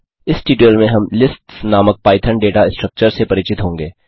इस ट्यूटोरियल में हम लिस्ट्स नामक पाइथन डेटा स्ट्रक्चर से परिचित होंगे